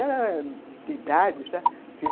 Ela era de idade, sabe?